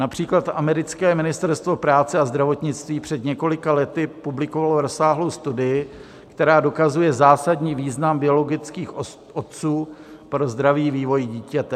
Například americké Ministerstvo práce a zdravotnictví před několika lety publikovalo rozsáhlou studii, která dokazuje zásadní význam biologických otců pro zdravý vývoj dítěte.